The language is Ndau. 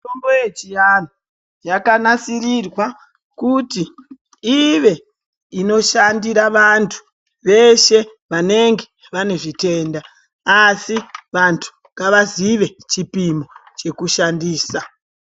Mitombo yechianhu yakanasisirwa kuti ive inoshandira vantu veshe vanenge vane zvitenda asi vantu ngavaziye chipimo chekushandisa.